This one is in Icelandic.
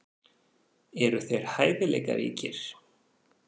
Eru þeir hæfileikaríkir?